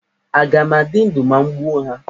Aga m adị ndụ ma m gbuo ha?